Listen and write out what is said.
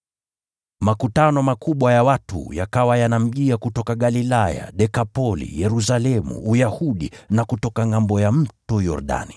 Makutano makubwa ya watu yakawa yanamjia kutoka Galilaya, Dekapoli, Yerusalemu, Uyahudi na kutoka ngʼambo ya Mto Yordani.